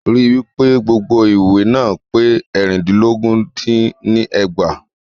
Rí wípé gbogbo ìwé náà pé eérìndínlógún dín ní ẹgbàá.